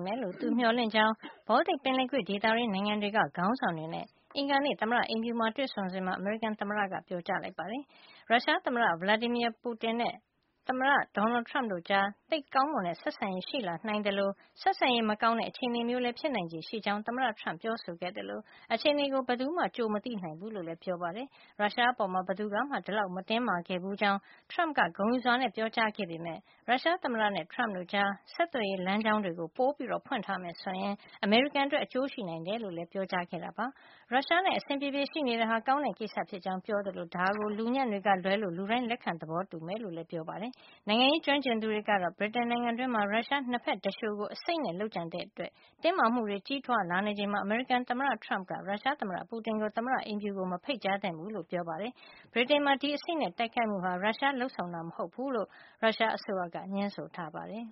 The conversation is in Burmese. မ့်မယ်လို့ သူမျှော်လင့်ကြောင်း Baltic ပင်လယ်ကွေ့ဒေသတွင်း နိုင်ငံတွေက ခေါင်းဆောင်တွေနဲ့ အင်္ဂါနေ့ သမ္မတအိမ်ဖြူမှာ တွေ့ဆုံစဉ်မှာ အမေရိကန်သမ္မတ Donald Trump ကပြောပါတယ်။ ရုရှားသမ္မတ Vladimir Putin နဲ့ သမ္မတ Trump တို့ကြား သိပ်ကောင်းမွန်တဲ့ဆက်ဆံရေး ရှိလာနိုင်သလို ဆက်ဆံရေး မကောင်းတဲ့ အခြေနေမျိုးလည်း ဖြစ်နိုင်ချေရှိကြောင်းသမ္မတ Trump ကပြောဆိုခဲ့သလို အခြေနေကို ဘယ်သူမှ ကြိုမသိနိုင်ဘူးလို့လည်း ပြောပါတယ်။ ရုရှားအပေါ်မှာ ဘယ်သူကမှ ဒီလောက်မတင်းမာခဲ့ဘူးကြောင်း Trump က ဂုဏ်ယူစွာနဲ့ ပြောကြားခဲ့ပေမယ့် ရုရှားသမ္မတနဲ့ Trump တို့ကြား ဆက်သွယ်ရေးလမ်းကြောင်း တွေ ပိုဖွင့်ထားမယ်ဆိုရင် အမေရိကန်အတွက် အကျိုးရှိနိုင်တယ်လို့လည်း ပြောကြားခဲ့တာပါ။ ရုရှားနဲ့ အဆင်ပြေပြေ ရှိနေတာဟာ ကောင်းတဲ့ ကိစ္စဖြစ်ကြောင်းပြောကြားခဲ့သလို ဒါကို လူညံ့တွေကလွဲလို့ လူတိုင်းလက်ခံ သဘောတူမှာ ဖြစ်ကြောင်းလည်း ပြောပါတယ်။ နိုင်ငံရေး ကျွမ်းကျင်သူတွေကတော့ ဗြိတိန်နိုင်ငံတွင်းမှာ ရုရှား ၂ ဖက်သူလျှိုကို အဆိပ်နဲ့ လုပ်ကြံခဲ့တဲ့အတွက် တင်းမာမှုတွေ ကြီးထွားလာနေချိန်မှာ အမေရိကန်သမ္မတ Trump က ရုရှားသမ္မတ Putin ကို သမ္မတအိမ်ဖြူကို မဖိတ်ကြားသင့်ဘူးလို့ ပြောပါတယ်။ ဗြိတိန်မှာ ဒီအဆိပ်နဲ့ တိုက်ခိုက်မှုဟာ ရုရှားလုပ်ဆောင်တာမဟုတ်ဖူးလို့ ရုရှားအစိုးရက ငြင်းဆိုပါတယ်။